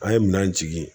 An ye minɛn jigi